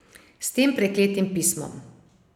S tem prekletim pismom.